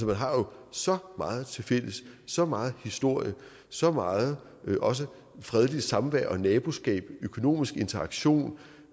man har jo så meget tilfælles så meget historie så meget også fredeligt samvær og naboskab økonomisk interaktion